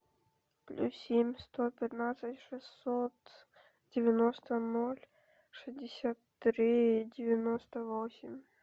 плюс семь сто пятнадцать шестьсот девяносто ноль шестьдесят три девяносто восемь